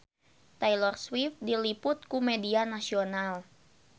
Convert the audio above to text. Taylor Swift diliput ku media nasional